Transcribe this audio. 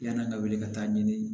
Yann'an ka wele ka taa ɲini